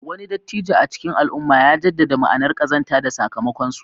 Wani dattijo a cikin al'umma ya jaddada ma'anar ƙazanta da sakamakonsu.